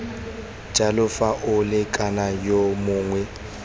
jalo fa molekane yo mongwe